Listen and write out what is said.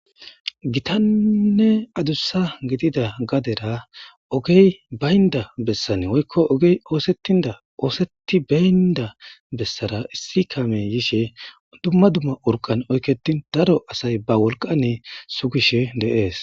"Gitanne adussa gidida gadera ogey bayinda bessan woykko ogey osetenda oosentibenda besara issi kaamey yishe dumma dumma oriqqan oyiketin daro asay ba wolqqan sugishe de'es."